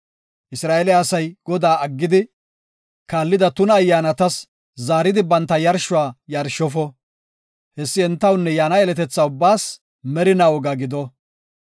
Isra7eele asay Godaa aggidi kaallida tuna ayyaanatas zaaridi banta yarshuwa yarshofo. Hessi entawunne yaana yeletethaa ubbaas merinaa woga gido.